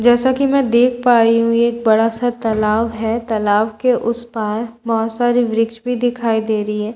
जैसे कि मैं देख पा रही हूं ये एक बड़ा-सा तालाब है तालाब के उस पार बहुत सारे वृक्ष भी दिखाई दे रही हैं ।